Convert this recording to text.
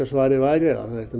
svarið væri að það ætti